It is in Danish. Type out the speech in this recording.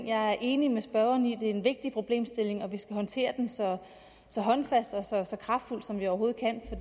jeg er enig med spørgeren i at det er en vigtig problemstilling og at vi skal håndtere den så så håndfast og så så kraftfuldt som vi overhovedet kan